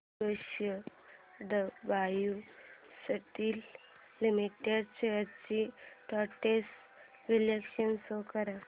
JSW steel limited shares trends चे विश्लेषण show कर